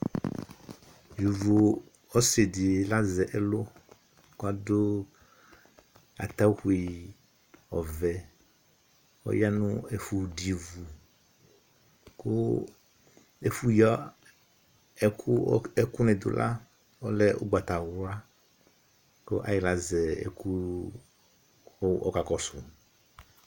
Yovo ɔsɩ lazɛ ɛlʋ kʋ adʋ atawui ɔvɛ Ɔya nʋ ɛfʋ dʋ ivu kʋ ɛfʋyǝ ɛkʋ ɛkʋnɩ dʋ la ɔlɛ ʋgbatawla kʋ ayɩɣla azɛ ɛkʋ kʋ ɔkakɔsʋ